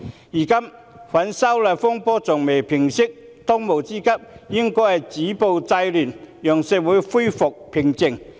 如今，反修例風波尚未平息，當務之急應是止暴制亂，讓社會回復平靜。